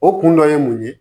O kun dɔ ye mun ye